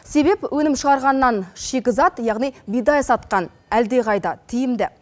себеп өнім шығарғаннан шикізат яғни бидай сатқан әлдеқайда тиімді